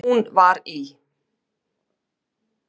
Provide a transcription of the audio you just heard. Hún var í